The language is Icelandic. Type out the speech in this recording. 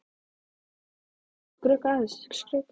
Er ég nokkuð að skrökva þessu?